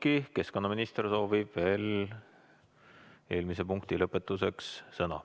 Siiski, keskkonnaminister soovib veel eelmise punkti lõpetuseks sõna.